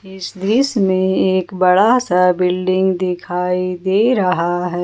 इस दृश्य में एक बड़ा सा बिल्डिंग दिखाई दे रहा है।